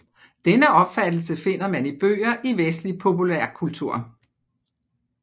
Denne opfattelse finder man i bøger i vestlig populærkultur